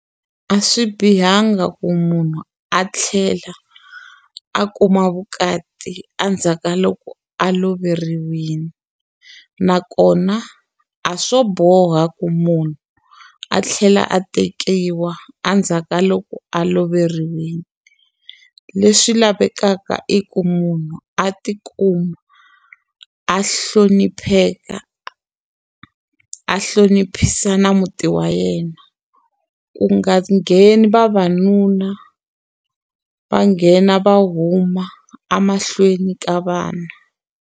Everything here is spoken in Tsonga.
A swi bihanga ku munhu a tlhela a kuma vukati endzhaku ka loko a loveriwile nakona a swo boha ku munhu a tlhela a tekiwa endzhaku ka loko a loveriwile leswi lavekaka i ku munhu a tikuma a hlonipheka a a a hlonipha na muti wa yena ku nga ngheni vavanuna va nghena va huma emahlweni ka vana.